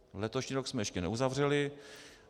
Letošní rok jsme ještě neuzavřeli.